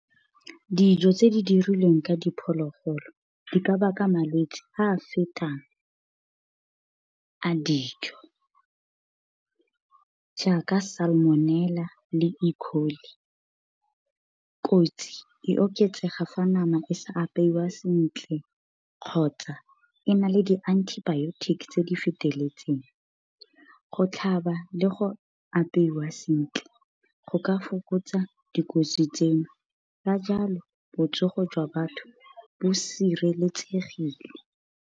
Dijo tse di dirilweng ka diphologolo, di ka baka malwetse a a fetang a dijo, jaaka Salmonella le . Kotsi e oketsega fa nama e sa apeiwa sentle kgotsa e na le di-antibiotics tse di feteletseng. Go tlhaba le go apeiwa sentle, go ka fokotsa dikotsi tseno, ka jalo botsogo jwa batho bo sireletsegile.